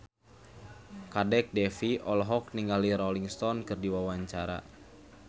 Kadek Devi olohok ningali Rolling Stone keur diwawancara